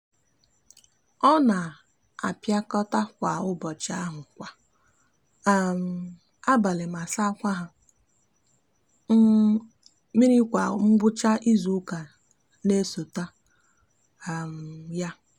o n'apikota akwa nkpuchi ahu kwa um abali ma sakwa ha um miri kwa ngwucha izuuka n'esota um ya